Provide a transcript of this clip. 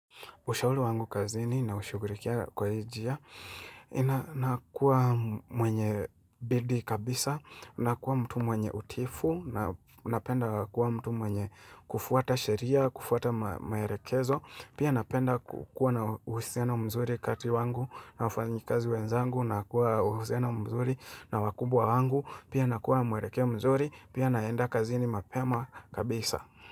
Ushauli wangu kazini na ushugurikia kwa hi njia ina. Nakuwa mwenye bidi kabisa, nakuwa mtu mwenye utiifu, napenda kuwa mtu mwenye kufuata sheria, kufuata maerekezo. Pia napenda kukua na uhusiano mzuri kati wangu na wafanyikazi wenzangu, nakua uhusiano mzuri na wakubwa wangu. Pia nakua mwerekeo mzuri, pia naenda kazini mapema kabisa.